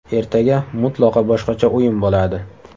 Ertaga mutlaqo boshqacha o‘yin bo‘ladi.